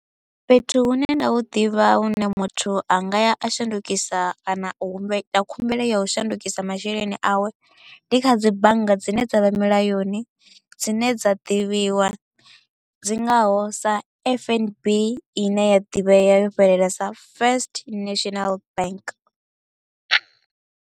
Fhethu hune nda hu ḓivha hune muthu a nga ya a shandukisa kana u humbela khumbelo ya u shandukisa masheleni awe, ndi kha dzi bannga dzine dza vha mulayoni dzine dza ḓivhiwa dzi ngaho sa F_N_B i ne ya ḓivhea yo fhelela sa First National Bank.